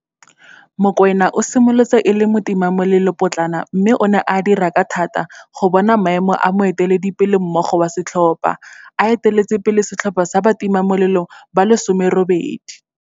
Mokoena o simolotse e le motimamolelopotlana mme o ne a dira ka thata go bona maemo a moeteledipelemogolo wa setlhopha, a eteletse pele setlhopha sa batimamolelo ba le 18.